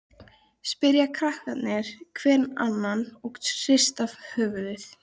Af hverju þarf hann að láta svona núna?